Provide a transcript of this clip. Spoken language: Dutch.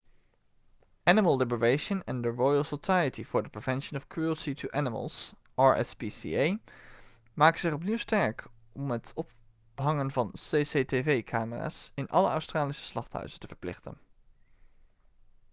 animal liberation en de royal society for the prevention of cruelty to animals rspca maken zich opnieuw sterk om het ophangen van cctv-camera's in alle australische slachthuizen te verplichten